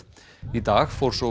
í dag fór svo